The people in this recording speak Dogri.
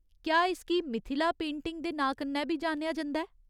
क्या इसगी मिथिला पेंटिंग दे नांऽ कन्नै बी जानेआ जंदा ऐ ?